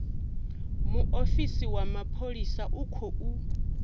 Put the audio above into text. muofisi wa mapholisa u khou